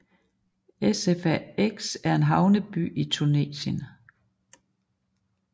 Sfax er en havneby i Tunesien